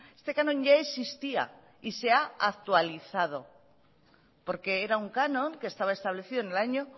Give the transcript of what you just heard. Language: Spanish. este canon ya existía y se ha actualizado porque era un canon que estaba establecido en el año